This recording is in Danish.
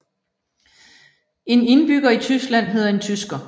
En indbygger i Tyskland hedder en tysker